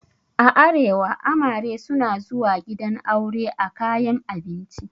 A arewa amare suna zuwa gidan aure a kayan abinci.